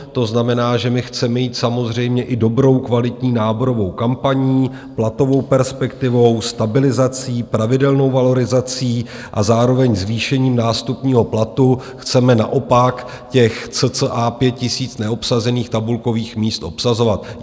To znamená, že chceme jít samozřejmě i dobrou, kvalitní náborovou kampaní, platovou perspektivou, stabilizací, pravidelnou valorizací a zároveň zvýšením nástupního platu chceme naopak těch cca 5 000 neobsazených tabulkových míst obsazovat.